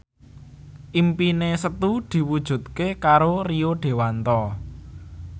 impine Setu diwujudke karo Rio Dewanto